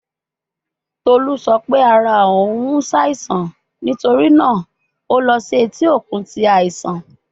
Tolu sọ pe ara oun n ṣaisan nitori naa o lọ si eti okun ti aisan